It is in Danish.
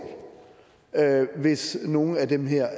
hvis nogen af de her